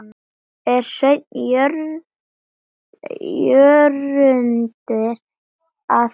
er Sveinn Jörundur að gera?